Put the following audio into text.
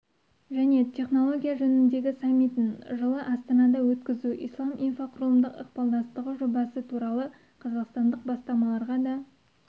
және технология жөніндегі саммитін жылы астанада өткізу ислам инфрақұрылымдық ықпалдастығы жобасы туралы қазақстандық бастамаларға да